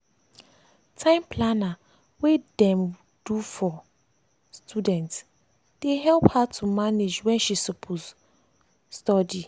time planner wey dem do for studentsdey help her to manage wen she suppose wen she suppose study.